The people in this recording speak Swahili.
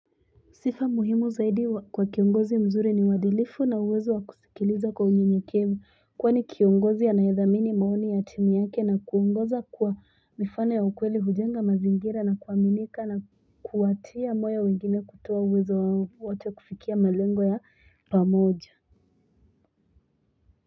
Sifa muhimu zaidi kwa kiongozi mzuri ni uwadilifu na uwezo wa kuskiliza kwa unyenye kefu. Kwani kiongozi anayethamini maoni yatimu yake na kuongoza kuwa mifano ya ukweli hujenga mazingira na kua minika na kuwatia moyo wengine kutoa uwezo wao wote kufikia malengo ya pamoja.